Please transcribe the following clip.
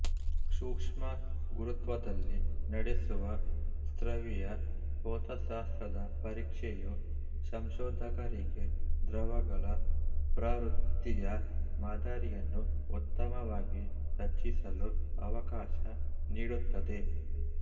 ಸೂಕ್ಷ್ಮ ಗುರುತ್ವದಲ್ಲಿ ನಡೆಸುವ ಸ್ರವಿಯ ಭೌತಶಾಸ್ತ್ರದ ಪರೀಕ್ಷೆಯು ಸಂಶೋಧಕರಿಗೆ ದ್ರವಗಳ ಪ್ರವೃತ್ತಿಯ ಮಾದರಿಯನ್ನು ಉತ್ತಮವಾಗಿ ರಚಿಸಲು ಅವಕಾಶ ನೀಡುತ್ತದೆ